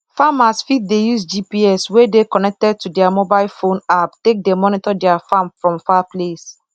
farmers fit dey use gps wey dey connected to their mobile phone app take dey monitor their farm from far place